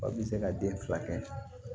Aw bɛ se ka den fila kɛ